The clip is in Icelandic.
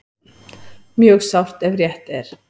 Mjög sárt ef rétt er